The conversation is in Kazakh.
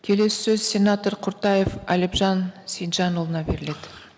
келесі сөз сенатор құртаев әлімжан сейітжанұлына беріледі